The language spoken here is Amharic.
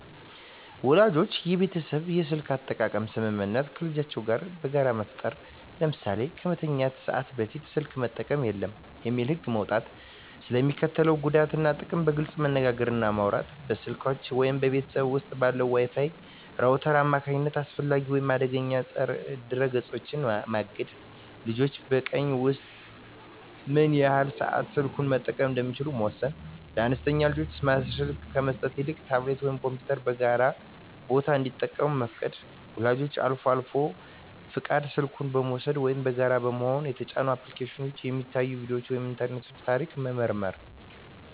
ወላጆች የቤተሰብ የስልክ አጠቃቀም ስምምነት ከልጆቻቸው ጋር በጋራ መፍጠር። ለምሳሌ "ከመተኛት ሰዓት በፊት ስልክ መጠቀም የለም" የሚል ህግ መውጣት። ስለ ሚስከትለው ጉዳት እና ጥቅም በግልፅ መነጋገር እና ማውራት። በስልኮች ወይም በቤት ውስጥ ባለው የWi-Fi ራውተር አማካኝነት አላስፈላጊ ወይም አደገኛ ድረ-ገጾችን ማገድ። ልጆች በቀን ውስጥ ምን ያህል ሰዓት ስልኩን መጠቀም እንደሚችሉ መወሰን። ለአነስተኛ ልጆች ስማርት ስልክ ከመስጠት ይልቅ ታብሌት ወይም ኮምፒውተርን በጋራ ቦታ እንዲጠቀሙ መፍቀድ። ወላጆች አልፎ አልፎ በልጁ ፈቃድ ስልኩን በመውሰድ (ወይም በጋራ በመሆን) የተጫኑ አፕሊኬሽኖች፣ የሚታዩ ቪዲዮዎች ወይም የኢንተርኔት ታሪክ መመርመር።